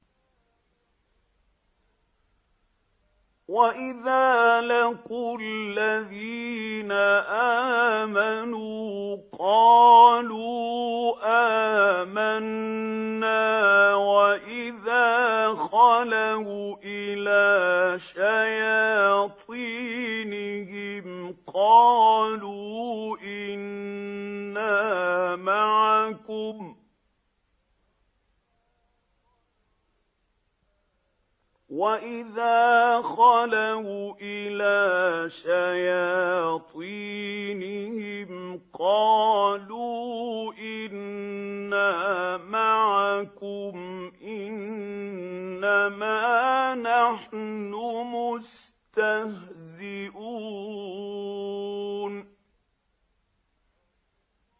وَإِذَا لَقُوا الَّذِينَ آمَنُوا قَالُوا آمَنَّا وَإِذَا خَلَوْا إِلَىٰ شَيَاطِينِهِمْ قَالُوا إِنَّا مَعَكُمْ إِنَّمَا نَحْنُ مُسْتَهْزِئُونَ